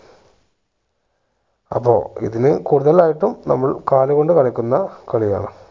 അപ്പോ ഇതില് കൂടുതലായിട്ടും നമ്മൾ കാലുകൊണ്ട് കളിക്കുന്ന കളിയാണ്